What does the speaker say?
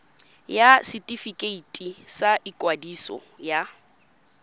ya setefikeiti sa ikwadiso ya